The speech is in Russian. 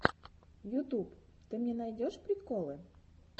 ютуб ты мне найдешь приколы